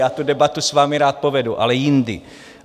Já tu debatu s vámi rád povedu, ale jindy.